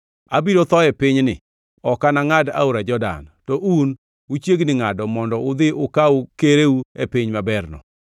Abiro tho e pinyni, ok anangʼad aora Jordan, to un uchiegni ngʼado mondo udhi ukaw kereu e piny maberno.